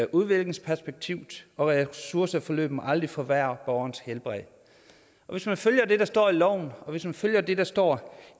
udviklingsperspektiv og ressourceforløb må aldrig forværre borgerens helbred hvis man følger det der står i loven og hvis man følger det der står